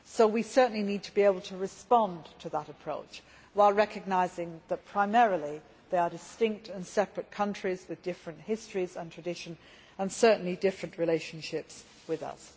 We certainly need to be able to respond to that approach, while recognising that, primarily, they are distinct and separate countries with different histories and traditions and certainly different relationships with us.